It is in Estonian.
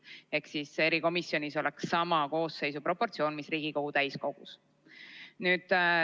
Ehk siis erikomisjonis oleks koosseis samas proportsioonis, mis Riigikogu täiskogus.